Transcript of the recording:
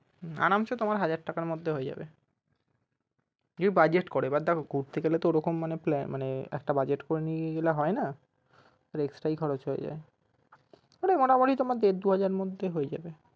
হম আরামসে তোমার হাজার টাকার মধ্যে হয়ে যাবে যদি budget করো এবার দেখো ঘুরতে গেলে তো ওরকম একটা plan একটা budget করে নিয়ে গেলে হয়না extra ই খরচ হয়ে যায় ওটা মোটামুটি তোমার দেড় দুহাজার এর মধ্যে হয়ে যাবে।